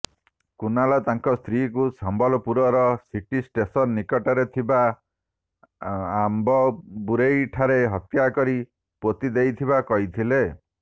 କୁନାଲ ତାଙ୍କ ସ୍ତ୍ରୀଙ୍କୁ Sambalpur city station ନିକଟରେ ଥିବା ଆମ୍ଭବୁରେଇଠାରେ ହତ୍ୟା କରି ପୋତି ଦେଇଥିବା କହିଥିଲା